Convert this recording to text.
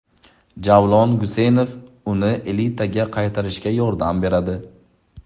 Javlon Guseynov uni elitaga qaytarishga yordam beradi.